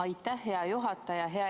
Aitäh, hea juhataja!